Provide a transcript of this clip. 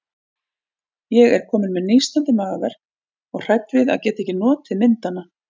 Ég er komin með nístandi magaverk og hrædd við að geta ekki notið myndanna.